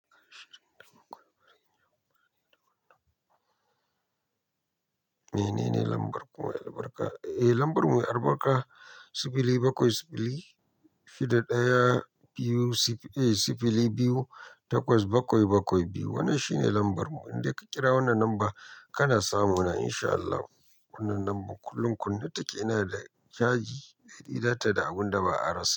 Eh, menene lambar ku mai albarka? Eh, lambar mu mai albarka sifili bakwai sifili shida ɗaya sifili biyu takwas bakwai bakwai biyu. Wannan shine lambar mu. Inde ka kira wannan lambar kana samuna insha Allahu. Wannan lambar kullum kunne take inada caji, bai yi datti da abunda ba a rasa.